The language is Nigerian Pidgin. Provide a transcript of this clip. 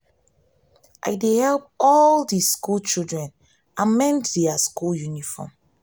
i dey help all di skool children amend their school uniform.